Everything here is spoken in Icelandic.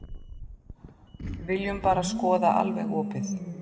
Viljum bara skoða alveg opið.